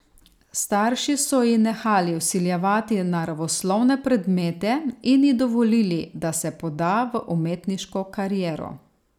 Starši so ji nehali vsiljevati naravoslovne predmete in ji dovolili, da se poda v umetniško kariero.